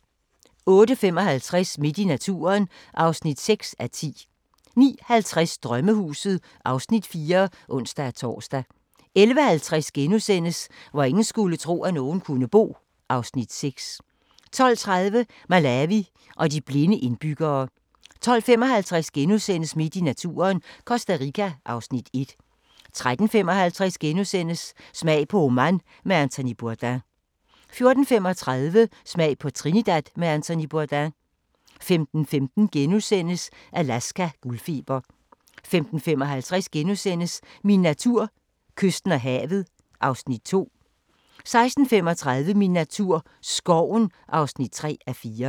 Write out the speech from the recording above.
08:55: Midt i naturen (6:10) 09:50: Drømmehuset (Afs. 4)(ons-tor) 11:50: Hvor ingen skulle tro, at nogen kunne bo (Afs. 6)* 12:30: Malawi og de blinde indbyggere 12:55: Midt i naturen – Costa Rica (Afs. 1)* 13:55: Smag på Oman med Anthony Bourdain * 14:35: Smag på Trinidad med Anthony Bourdain 15:15: Alaska – guldfeber * 15:55: Min natur: Kysten og havet (Afs. 2)* 16:35: Min natur - skoven (3:4)